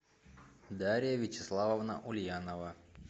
дарья вячеславовна ульянова